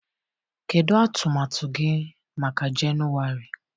Kedu atụmatụ gị maka Jenụwarị?